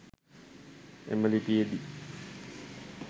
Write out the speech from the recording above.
එම ලිපියේදී